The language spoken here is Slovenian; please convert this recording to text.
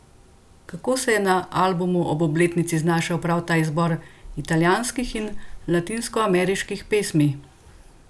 Kako se je na albumu ob obletnici znašel prav ta izbor italijanskih in latinskoameriških pesmi?